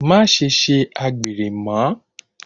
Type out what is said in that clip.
Maṣe ṣe àgbèrè mọ́!